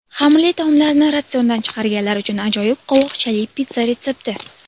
Xamirli taomlarni ratsiondan chiqarganlar uchun ajoyib qovoqchali pitssa retsepti!